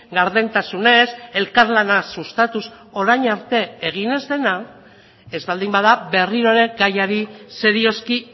gardentasunez elkarlana sustatuz orain arte egin ez dena ez baldin bada berriro ere gaiari serioski